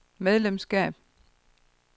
medlemskab